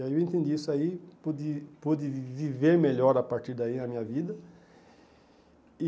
E aí eu entendi isso aí, pude pude viver melhor a partir daí a minha vida. E